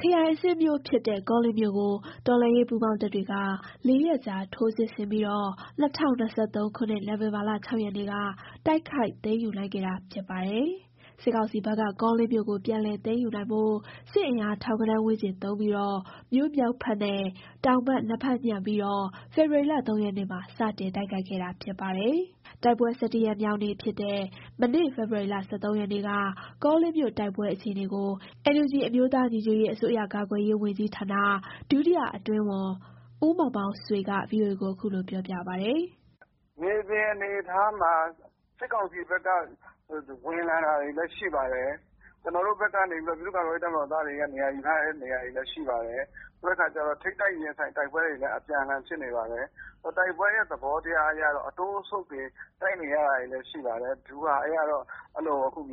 ခရိုင်အဆင့်မြို့ဖြစ်တဲ့ ကောလင်းမြို့ကို တော်လှန်ရေးပူးပေါင်းတပ်တွေက လေးရက်ကြာ ထိုးစစ်ဆင်ပြီး ၂၀၂၃ နိုဝင်ဘာ ၆ ရက်နေ့က တိုက်ခိုက် သိမ်းယူနိုင်ခဲ့တာ ဖြစ်ပါတယ်။ စစ်ကောင်စီဘက်က ကောလင်းမြို့ကို ပြန်လည် သိမ်းယူနိုင်ဖို့ စစ်အင်အား ထောင်ဂဏန်း ဝန်းကျင်သုံးပြီး မြို့မြောက်ဖက်နဲ့ တောင်ဖက် နှစ်ဖက်ညှပ်ပြီး ဖေဖော်ဝါရီ ၃ ရက်နေ့မှာ စတင်တိုက်ခိုက်ခဲ့တာဖြစ်ပါတယ်။ တိုက်ပွဲ ၁၁ ရက်မြောက်နေ့ဖြစ်တဲ့ မနေ့ ဖေဖော်ဝါရီ ၁၃ ရက်နေ့က ကောလင်းမြို့တိုက်ပွဲ အခြေအနေကို NUG အမျိုးသား ညီညွတ်ရေး အစိုးရ ကာကွယ်ရေး ဝန်ကြီးဌာန ဒုတိယအတွင်းဝန် ဦးမောင်မောင်ဆွေက VOA ကို ခုလိုပြောပါတယ်။ “မြေပြင်အနေအထားမှာ စစ်ကောင်စီဘက်က ဝင်လာတာတွေလည်း ရှိပါတယ်။ ကျွန်တော်တို့ဘက်က ပြည်သူ့ကာကွယ်ရေး တပ်မတော်သားတွေက နေရာယူထားတာတွေလည်း ရှိပါတယ်။ ထိပ်တိုက် ရင်ဆိုင်တိုက်ပွဲတွေလည်း အပြန်အလှန်ဖြစ်နေပါတယ်။ တိုက်ပွဲရဲ့ သဘောတရားအရ အတိုးအဆုတ်တွေနဲ့ တိုက်နေရတာတွေလည်း ရှိပါတယ်။ ဗျူဟာအရကတော့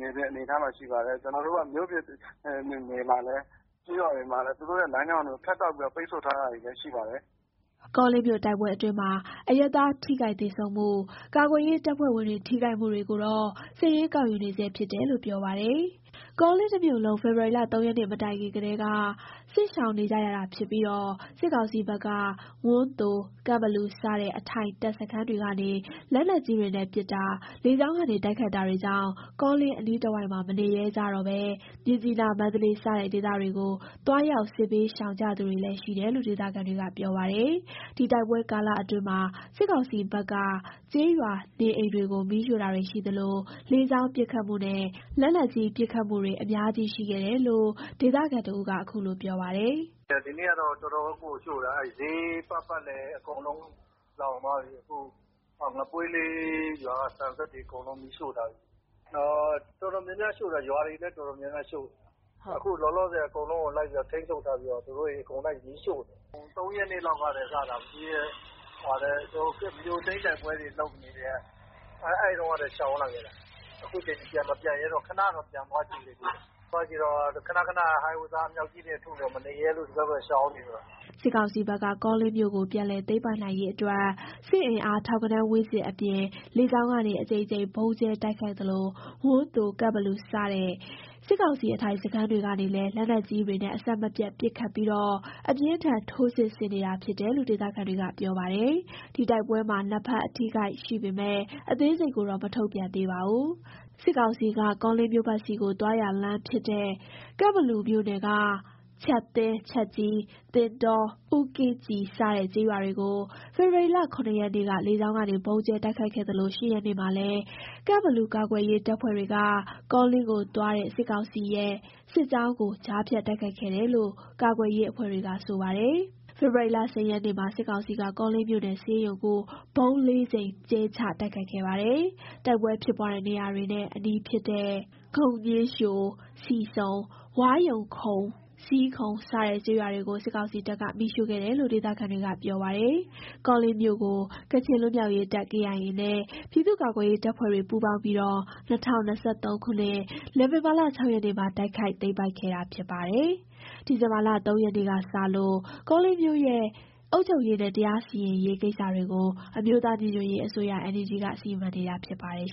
မြေပြင်မှာ အဲ့လိုအနေအထားတွေ ရှိပါတယ်။ ကျွန်တော်တို့ကတော့ မြေပြင်တွေမှာလည်း ကျေးရွာတွေမှာလည်း သူတို့ရဲ့ လမ်းကြောင်းတွေကို ဖြတ်တောက်ပြီးတော့ ပိတ်ဆို့ထားတာတွေလည်း ရှိပါတယ်။” ကောလင်းမြို့တိုက်ပွဲအတွင်းမှာ အရပ်သား ထိခိုက်သေဆုံးမှု၊ ကာကွယ်ရေးတပ်ဖွဲ့ဝင်တွေ ထိခိုက်မှုတွေကိုတော့ စာရင်းကောက်ယူနေဆဲ ဖြစ်တယ်လို့ ပြောပါတယ်။ ကောလင်းတစ်မြို့လုံး ဖေဖော်ဝါရီ ၃ ရက်နေ့မတိုင်ခင်ကတည်း စစ်ရှောင်နေကြရတာဖြစ်ပြီး စစ်ကောင်စီဖက်က ဝန်းသို၊ ကန့်ဘလူ စတဲ့ အထိုင်တပ်စခန်းတွေကနေ လက်နက်ကြီးတွေနဲ့ပစ်တာ၊ လေကြောင်းကနေ တိုက်ခိုက်တာတွေကြောင့် ကောလင်း အနီးတဝိုက်မှာ မနေရဲကြတော့ဘဲ မြစ်ကြီးနား၊ မန္တလေး စတဲ့ ဒေသတွေကို သွားရောက် စစ်ဘေးရှောင်ကြသူတွေလည်း ရှိတယ်လို့ ဒေသခံတွေက ပြောပါတယ်။ ဒီတိုက်ပွဲကာလအတွင်းမှာ စစ်ကောင်စီဘက်က ကျေးရွာနေအိမ်တွေကို မီးရှို့တာတွေရှိသလို လေကြောင်းပစ်ခတ်မှုနဲ့ လက်နက်ကြီး ပစ်ခတ်မှုတွေလည်း အများကြီးရှိခဲ့တယ်လို့ ဒေသခံတစ်ဦးက ခုလိုပြောပါတယ်. “ဒီနေ့ကတော့ တော်တော့်ကိုရှို့တာ၊ စျေးပတ်ပတ်လည်အကုန်လုံး ကုန်သွားပြီ။ အခု ငပွေးလေး ရွာက ဆန်စက်တွေအကုန်လုံးလည်း မီးရှို့ထားပြီ။ တော်တော်များများရှို့တာ၊ ရွာတွေလည်း တော်တော်များများ ရှို့ထားတယ်။ အခု လောလောဆယ် သူတို့ အကုန် ထိမ်းချုပ်ထားပြီးတော့ အကုန်ပတ် မီးရှို့နေတယ်။ ၃ ရက်နေ့လောက်ကနေစပြီး မြို့သိမ်းတိုက်ပွဲတွေ လုပ်ကတည်းက ရှောင်နေတာ၊ မပြန်ရဲကြတော့ဘူး၊ ခဏတော့ ပြန်လိုက်သေးတယ်။ ခဏခဏ ဟောင်ဝစ်ဇာ အမြောက်ကြီးတွေနဲ့ ပစ်တော့ မနေရဲတော့လို့ ရှောင်နေလိုက်ကြတော့တာ။” စစ်ကောင်စီဘက်က ကောလင်းမြို့ကို ပြန်လည်းသိမ်းပိုက်နိုင်ရေးအတွက် စစ်အင်အား ထောင်ဂဏန်း ဝန်းကျင်အပြင် လေကြောင်းကနေ အကြိမ်ကြိမ် ဗုံးကြဲတိုက်ခိုက်သလို ဝန်းသို၊ ကန့်ဘလူ စတဲ့ စစ်ကောင်စီ အထိုင်စခန်းတွေကနေလည်း လက်နက်ကြီးတွေနဲ့ အဆက်မပြတ် ပစ်ခတ်ပြီး အပြင်းအထန် ထိုးစစ်ဆင်နေတာ ဖြစ်တယ်လို့ ဒေသခံတွေက ပြောပါတယ်။ ဒီတိုက်ပွဲမှာ နှစ်ဖက် အထိအခိုက် ရှိပေမယ့် အသေးစိတ်ကိုတော့ မထုတ်ပြန်သေးပါဘူး။ စစ်ကောင်စီက ကောလင်းမြို့ဖက်သို့ သွားရာလမ်းဖြစ်တဲ့ ကန့်ဘလူမြို့နယ်က ချပ်သင်း၊ ချပ်ကြီး၊ သင်တော၊ ဦးကင်းကြည် စတဲ့ ကျေးရွာတွေကို ဖေဖော်ဝါရီ ၇ ရက်နေ့က လေကြောင်းကနေ ဗုံးကြဲတိုက်ခိုက်ခဲ့သလို ၈ ရက်နေ့မှာလည်း ကန့်ဘလူ ကာကွယ်ရေးတပ်ဖွဲ့တွေက ကောလင်းကိုသွားတဲ့ စစ်ကောင်စီရဲ့ စစ်ကြောင်းကို ကြားဖြတ် တိုက်ခိုက်ခဲ့တယ်လို့ ကာကွယ်ရေးအဖွဲ့တွေက ဆိုပါတယ်။ ဖေဖော်ဝါရီ ၁၀ ရက်နေ့မှာ စစ်ကောင်စီက ကောလင်းမြို့နယ် ဆေးရုံကို ဗုံး ၄ကြိမ် ကြဲချ တိုက်ခိုက်ခဲ့ပါတယ်။ တိုက်ပွဲဖြစ်ပွားတဲ့နေရာတွေနဲ့ အနီးဖြစ်တဲ့ ဂုဏ်ညှင်းလျှို၊ ဆီဆုံ၊ ဝါးရုံခုံ၊ ဇီးခုံ စတဲ့ ကျေးရွာတွေကို စစ်ကောင်စီတပ်က မီးရှို့ခဲ့တယ်လို့ ဒေသခံတွေကပြောပါတယ်။ ကောလင်းမြို့ကို ကချင်လွတ်မြောက်ရေးတပ် KIA နဲ ပြည်သူ့ကာကွယ်ရေး တပ်ဖွဲ့တွေ ပူးပေါင်းပြီး ၂၀၂၃ ခုနှစ် နိုဝင်ဘာ ၆ ရက်နေ့မှာ တိုက်ခိုက် သိမ်းပိုက်ခဲ့တာဖြစ်ပြီး ဒီဇင်ဘာ ၃ ရက်နေ့ကစလို့ ကောလင်းမြို့ရဲ့ အုပ်ချုပ်ရေးနဲ့ တရားစီရင်ရေး ကိစ္စတွေကို အမျိုးသား ညီညွတ်ရေး အစိုးရ NUG က စီမံနေတာ ဖြစ်ပါတယ်